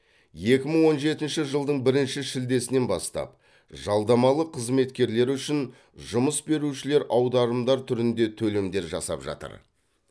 екі мың он жетінші жылдың бірінші шілдесінен бастап жалдамалы қызметкерлер үшін жұмыс берушілер аударымдар түрінде төлемдер жасап жатыр